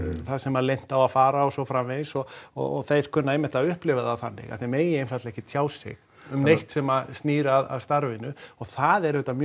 það sem leynt á að fara og svo framvegis og og þeir kunna einmitt að upplifa það þannig að þeir megi einfaldlega ekki tjá sig um neitt sem snýr að starfinu og það er auðvitað mjög